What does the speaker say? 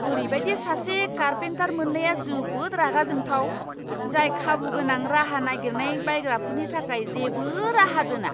ओरैबायदि सासे कारपेन्टार मोन्नाया जोबोद रागा जोंथाव, जाय खाबुगोनां राहा नागिरनाय बायग्राफोरनि थाखाय जेबो राहा दोना।